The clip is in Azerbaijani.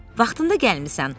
“Vaxtında gəlmisən.”